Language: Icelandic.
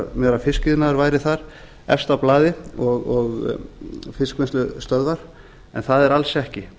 ímyndað mér að fiskiðnaður væri þar efst á blaði og fiskvinnslustöðvar en það er alls ekki